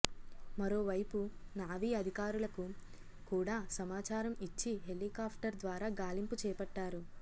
మరోవైపు నావీ అధికారులకు కూడా సమాచారం ఇచ్చి హెలికాప్టర్ ద్వారా గాలింపు చేపట్టారు